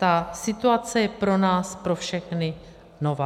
Ta situace je pro nás pro všechny nová.